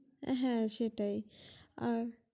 হে সেটাই আর